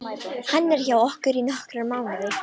Hann er hjá okkur í nokkra mánuði.